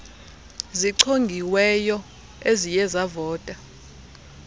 zichongiweyo eziye zavota